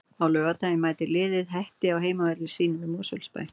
Á laugardaginn mætir liðið Hetti á heimavelli sínum í Mosfellsbæ.